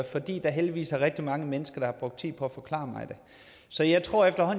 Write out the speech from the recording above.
fordi der heldigvis er rigtig mange mennesker der har brugt tid på at forklare mig det så jeg tror at